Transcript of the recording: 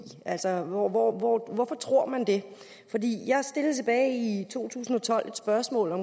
altså hvorfor tror man det jeg stillede tilbage i to tusind og tolv et spørgsmål om